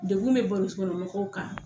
Degun bɛ bolisi kɔnɔ mɔgɔw kan.